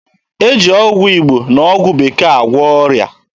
E ji ọgwụ Igbo na ọgwụ Bekee agwọ ọrịa.